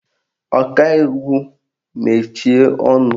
Ọkaiwu mechie ọnụ!